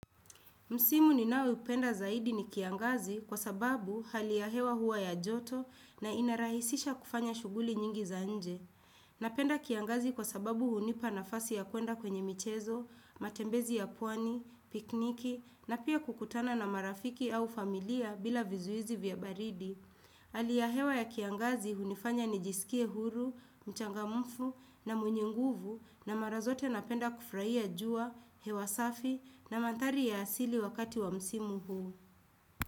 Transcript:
Msimu ninaoupenda zaidi ni kiangazi kwa sababu hali ya hewa huwa ya joto na inarahisisha kufanya shughuli nyingi za nje. Napenda kiangazi kwa sababu hunipa nafasi ya kuenda kwenye michezo, matembezi ya pwani, pikniki na pia kukutana na marafiki au familia bila vizuizi vya baridi. Hali ya hewa ya kiangazi hunifanya nijisikie huru, mchangamfu na mwenye nguvu na mara zote napenda kufraia jua, hewa safi na manthari ya asili wakati wa msimu huu.